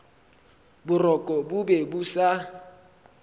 boroko bo be bo sa